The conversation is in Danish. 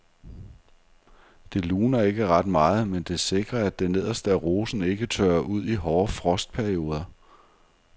Det luner ikke ret meget, men det sikrer at det nederste af rosen ikke tørrer ud i hårde frostperioder.